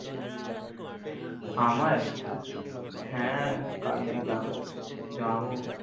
আমার হ্য়াঁ কাল কে যাবো যাবো